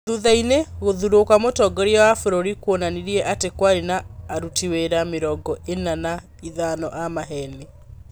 Thutha-inĩ gũthurwo kwa mũtongoria wa bũrũri kwonanirie atĩ kwarĩ na aruti wĩra mĩrongo ena na ithano a maheni.